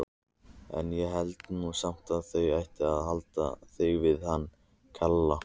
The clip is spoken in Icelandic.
En ég held nú samt að þú ættir að halda þig við hann Kela.